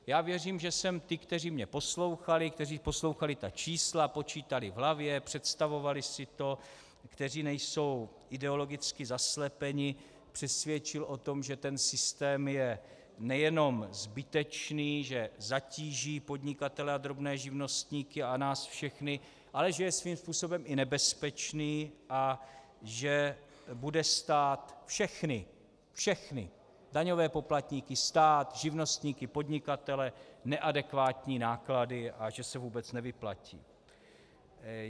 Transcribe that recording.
Já věřím, že jsem ty, kteří mě poslouchali, kteří poslouchali ta čísla, počítali v hlavě, představovali si to, kteří nejsou ideologicky zaslepeni, přesvědčil o tom, že ten systém je nejenom zbytečný, že zatíží podnikatele a drobné živnostníky a nás všechny, ale že je svým způsobem i nebezpečný a že bude stát všechny, všechny daňové poplatníky, stát, živnostníky, podnikatele, neadekvátní náklady a že se vůbec nevyplatí.